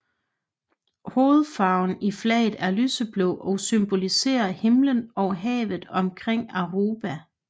Hovedfarven i flaget er lyseblå og symboliserer himmelen og havet omkring Aruba